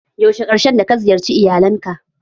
Yaushe karshen da ka ziyarce iyalin ka?